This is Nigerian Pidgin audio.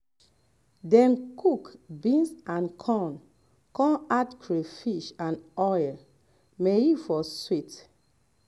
dey um cook um beans and um corn con add crayfish and oil may e for sweet